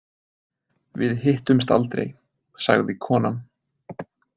Við hittumst aldrei, sagði konan.